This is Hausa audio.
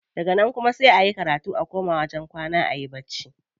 Daga nan kuma sai a yi karatu a koma wajen kwana ayi bacci.